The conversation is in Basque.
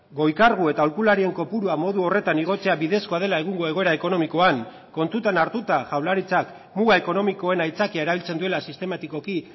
goi kargu eta aholkularien kopurua modu horretan igotzea bidezkoa dela egungo egoera ekonomikoan kontutan hartuta jaurlaritzak muga ekonomikoen aitzakia erabiltzen duela sistematikoki